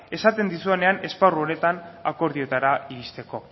esaten dizudanean esparru honetan akordioetara iristeko